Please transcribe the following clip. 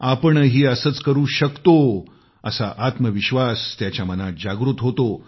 आपणही असंच करू शकतो असा आत्मविश्वास त्याच्या मनात जागृत होतो